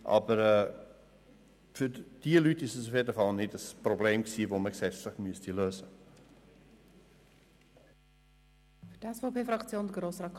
Aber für diese Leute war es auf jeden Fall kein Problem, das man gesetzlich lösen müsste.